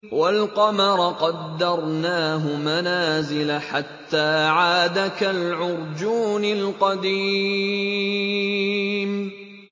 وَالْقَمَرَ قَدَّرْنَاهُ مَنَازِلَ حَتَّىٰ عَادَ كَالْعُرْجُونِ الْقَدِيمِ